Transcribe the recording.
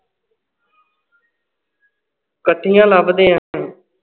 ਕੱਠਿਆਂ ਲੱਭਦੇ ਹਾਂ ਆਪਾਂ